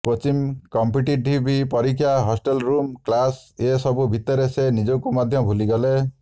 coaching competitive ପରୀକ୍ଷା hostel room class ଏ ସବୁ ଭିତରେ ସେ ନିଜକୁ ମଧ୍ୟ ଭୁଲି ଗଲେ